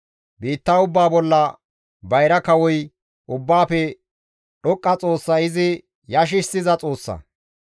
Biitta ubbaa bolla bayra kawoy Ubbaafe Dhoqqa Xoossay izi yashissiza Xoossa.